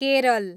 Kerala